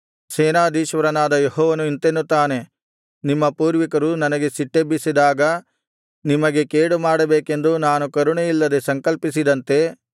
ಸೇನಾಧೀಶ್ವರನಾದ ಯೆಹೋವನು ಇಂತೆನ್ನುತ್ತಾನೆ ನಿಮ್ಮ ಪೂರ್ವಿಕರು ನನಗೆ ಸಿಟ್ಟೆಬ್ಬಿಸಿದಾಗ ನಿಮಗೆ ಕೇಡುಮಾಡಬೇಕೆಂದು ನಾನು ಕರುಣೆಯಿಲ್ಲದೆ ಸಂಕಲ್ಪಸಿದಂತೆ